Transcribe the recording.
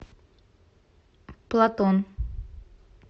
платон